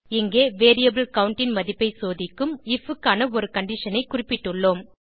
இங்கே variable count ன் மதிப்பை சோதிக்கும் ஐஎஃப் க்கான ஒரு கண்டிஷன் ஐ குறிப்பிட்டுள்ளோம்